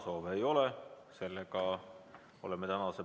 Soovin teile ilusat õhtut ja kohtume homme hommikul kell 10!